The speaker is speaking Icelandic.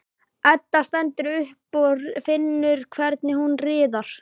Edda stendur upp og finnur hvernig hún riðar.